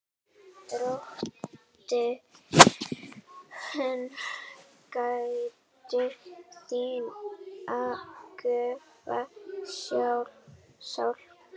Drottin gæti þín göfuga sál.